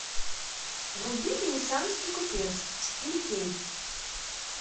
вруби венецианский купец четыре к